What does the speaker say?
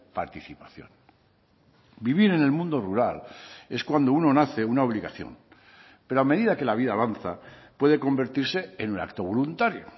participación vivir en el mundo rural es cuando uno nace una obligación pero a medida que la vida avanza puede convertirse en un acto voluntario